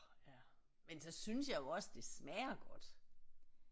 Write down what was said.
Ja men så synes jeg jo også det smager godt